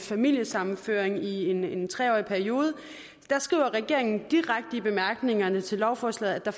familiesammenføring i en tre årig periode skriver regeringen direkte i bemærkningerne til lovforslaget at der